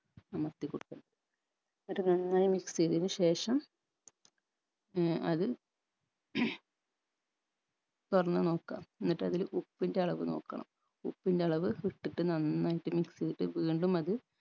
അമർത്തികൊടുക്കണം അത് നന്നായി mix എയ്തയ്ൻ ശേഷം ഏർ അത് തൊറന്ന് നോക്കുക എന്നിട്ട് അതില് ഉപ്പിൻറെ അളവ് നോക്കണം ഉപ്പിന്റെ അളവ് ഇട്ടിട്ട് നന്നായിട്ട് mix എയ്തിട്ട് വീണ്ടും അത് അമർത്തിക്കൊടുക്കണം